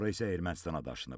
Sonra isə Ermənistana daşınıb.